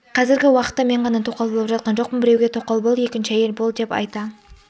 қазіргі уақытта мен ғана тоқал болып жатқан жоқпын біреуге тоқал бол екінші әйел бол деп айта